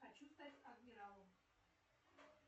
хочу стать адмиралом